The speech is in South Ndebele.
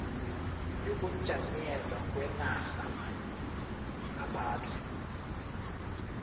yokujanyelwa kwenarha ngaphandle